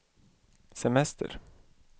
semester